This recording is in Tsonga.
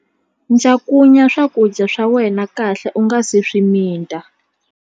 Cakunya swakudya swa wena kahle u nga si swi mita.